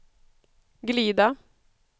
glida